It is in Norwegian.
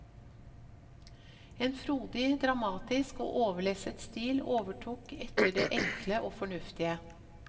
En frodig, dramatisk og overlesset stil overtok etter det enkle og fornuftige.